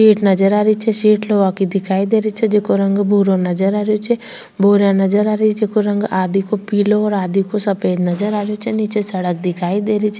Seat नजर आ रही छे सीट लोहा की दिखाई दे रही छे जेको रंग भूरा नजर आ रहियो छे भूरा नजर आ रही छे जको रंग आधी को पिलो आधी को सफ़ेद नजर आ रहियो छे नीचे सड़क दिखाई दे रही छे।